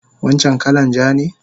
Wancan kalan ja ne?